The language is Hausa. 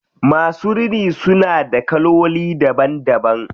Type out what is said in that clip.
Masu rini suna da kaloli daban daban.